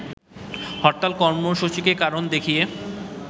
হরতাল কর্মসূচিকে কারণ দেখিয়ে